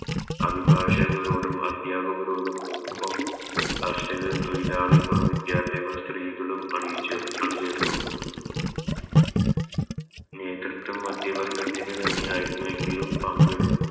അഭിഭാഷകരോടും അദ്യാപകരോടും ഒപ്പം കർഷകർ തോയിലാളികൾ വിദ്യാർഥികൾ സ്ത്രീകളും അണിച്ചോ അണിചേരുന്നു നേതൃത്വം മധ്യ വർഗത്തിന് തന്നെയായിരുന്നു എങ്കിലും പങ്കെടു